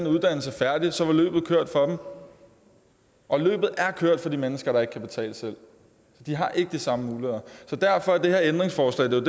uddannelse færdig så var løbet kørt for dem og løbet er kørt for de mennesker der ikke kan betale selv de har ikke de samme muligheder så derfor er der det her ændringsforslag det